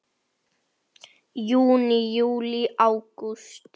Þá var hlegið dátt.